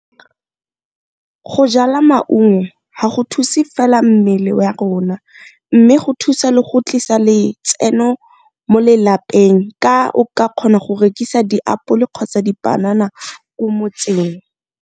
Go jala maungo ga go thuse fela mmele rona, mme go thusa le go tlisa letseno mo lelapeng ka o ka kgona go rekisa diapolo kgotsa dipanana ko motseng.